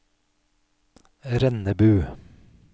Rennebu